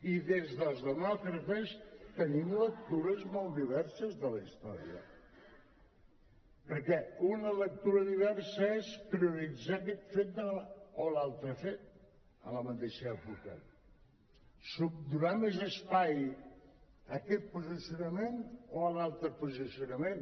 i des dels demòcrates tenim lectures molt diverses de la història perquè una lectura diversa és prioritzar aquest fet o l’altre fet a la mateixa època donar més espai a aquest posicionament o a l’altre posicionament